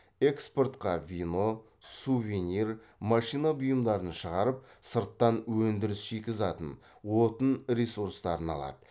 экспортқа вино сувенир машина бұйымдарын шығарып сырттан өндіріс шикізатын отын ресурстарын алады